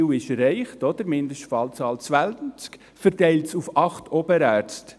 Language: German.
Das Ziel ist erreicht, Mindestfallzahl 20, verteilt auf 8 Oberärzte.